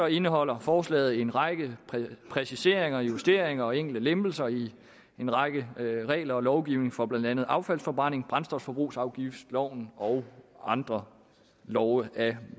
indeholder forslaget en række præciseringer justeringer og enkelte lempelser i en række regler og lovgivning for blandt andet affaldsforbrænding brændstofforbrugsafgiftloven og andre love af